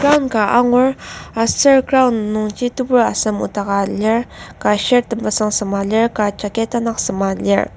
Ground ka angur aser ground nungji tebur asem noktaka lir ka shirt temesung sema lir ka jacket tanak sema lir.